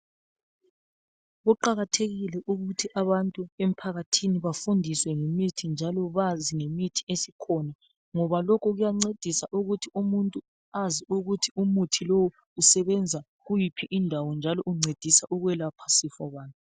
Kuqakathekile ukuthi abantu emphakathini bafundiswe ngemithi njalo bazi ngemithi esikhona, ngoba lokhu kuyancedisa ukuthi umuntu azi ukuthi umuthi lowu usebenza kuyiphi indawo njalo uncedisa ukwelapha sifo bani.